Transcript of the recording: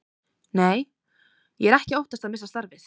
Nei, ég er ekki að óttast að missa starfið.